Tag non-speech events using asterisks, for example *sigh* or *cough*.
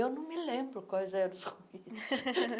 Eu não me lembro quais eram os ruídos. *laughs*